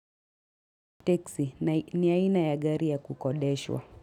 Taxi ni aina ya gari ya kukodeshwa.